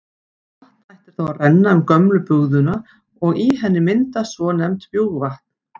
Vatn hættir þá að renna um gömlu bugðuna og í henni myndast svonefnt bjúgvatn.